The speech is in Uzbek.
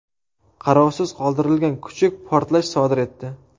Qarovsiz qoldirilgan kuchuk portlash sodir etdi.